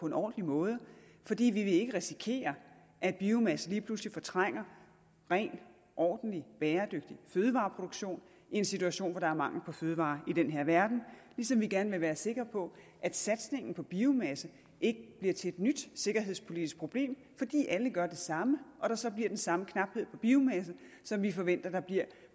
en ordentlig måde fordi vi ikke vil risikere at biomasse lige pludselig fortrænger ren ordentlig og bæredygtig fødevareproduktion i en situation hvor der er mangel på fødevarer i den her verden ligesom vi gerne vil være sikre på at satsningen på biomasse ikke bliver til et nyt sikkerhedspolitisk problem fordi alle gør det samme og der så bliver den samme knaphed på biomasse som vi forventer der bliver